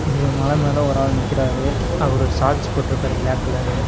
இது ஒரு மலமேல ஒரு ஆள் நிக்குறாரு அவரு ஷார்ட்ஸ் போட்ருக்காரு பிளாக் கலரு .